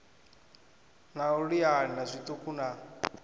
na u liana zwiṱuku na